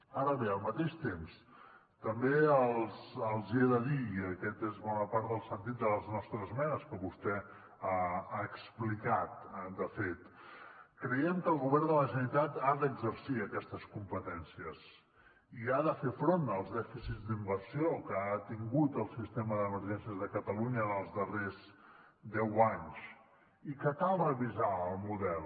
ara bé al mateix temps també els hi he de dir i aquest és bona part del sentit de les nostres esmenes que vostè ha explicat de fet creiem que el govern de la generalitat ha d’exercir aquestes competències i ha de fer front als dèficits d’inversió que ha tingut el sistema d’emergències de catalunya en els darrers deu anys i que cal revisar el model